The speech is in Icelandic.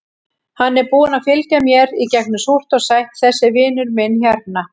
Hann er búinn að fylgja mér í gegnum súrt og sætt, þessi vinur minn hérna.